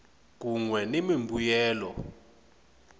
kun we ni mimbuyelo